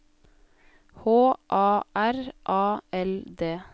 H A R A L D